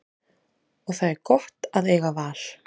Og það er gott að eiga val.